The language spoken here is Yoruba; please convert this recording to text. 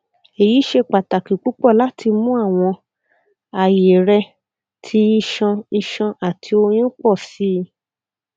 eyi ṣe pataki pupọ lati mu awọn aye rẹ ti iṣan iṣan ati oyun pọ si